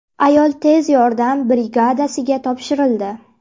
Ayol tez yordam brigadasiga topshirildi.